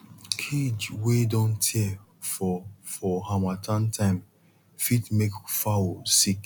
cage wey don tear for for harmattan time fit make fowl sick